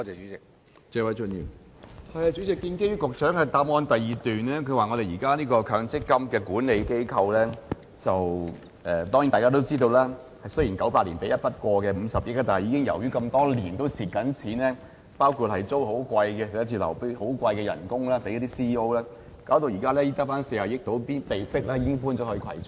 主席，局長於主體答覆的第二部分，提到現時強積金的管理機構——當然，大家都知道積金局雖然在1998年獲得一筆過50億元的撥款，但由於多年來的虧蝕，包括租用昂貴的辦公室及向 CEO 支付高薪，導致撥款現時只餘下大約40億元，被迫遷往葵涌。